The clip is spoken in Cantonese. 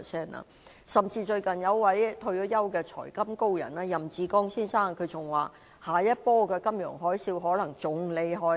最近甚至有一位退休"財金高人"任志剛先生表示，下一波的金融海嘯可能更厲害。